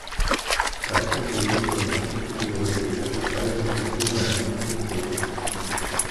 Kaj to govori o naših prioritetah, kaj ima kulturna javnost od tega?